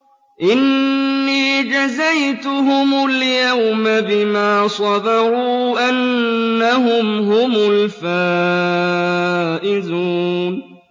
إِنِّي جَزَيْتُهُمُ الْيَوْمَ بِمَا صَبَرُوا أَنَّهُمْ هُمُ الْفَائِزُونَ